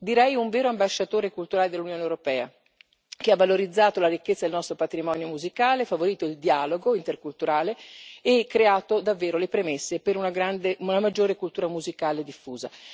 Direi un vero ambasciatore culturale dell'Unione europea, che ha valorizzato la ricchezza del nostro patrimonio musicale, favorito il dialogo interculturale e creato davvero le premesse per una maggiore cultura musicale diffusa.